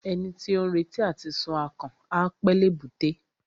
Ẹni tí ó ń retí àti sun akàn, á pẹ́ l'èbúté.